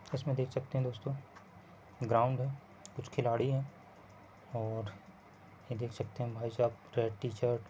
इसमे देख सकते हैं दोस्तों ग्राउन्ड है कुछ खिलाड़ी हैं और ये देख सकते हैं भाईसाब टीचर --